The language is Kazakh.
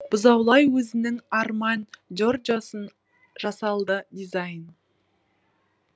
бұзаулай өзінің армань джорджосын жасалды дизайн